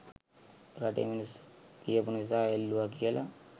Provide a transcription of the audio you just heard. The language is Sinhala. රටේ මිනිස්සු කියපු නිසා එල්ලුවා කියල.